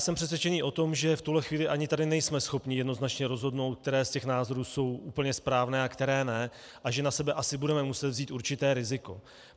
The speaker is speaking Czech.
Jsem přesvědčený o tom, že v tuhle chvíli ani tady nejsme schopni jednoznačně rozhodnout, které z těch názorů jsou úplně správné a které ne, a že na sebe asi budeme muset vzít určité riziko.